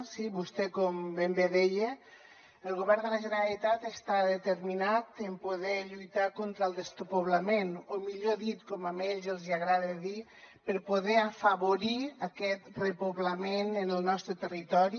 sí vostè com ben bé deia el govern de la generalitat està determinat en poder lluitar contra el despoblament o millor dit com a ells els hi agrada dir per poder afavorir aquest repoblament en el nostre territori